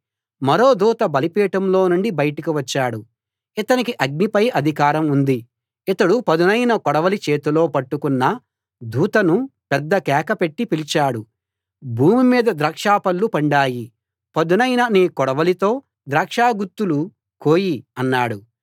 మరో దూత బలిపీఠంలో నుండి బయటకు వచ్చాడు ఇతనికి అగ్నిపై అధికారం ఉంది ఇతడు పదునైన కొడవలి చేతిలో పట్టుకున్న దూతను పెద్ద కేక పెట్టి పిలిచాడు భూమి మీద ద్రాక్ష పళ్ళు పండాయి పదునైన నీ కొడవలితో ద్రాక్ష గుత్తులు కోయి అన్నాడు